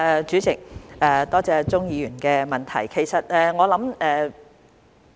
主席，多謝鍾議員的補充質詢。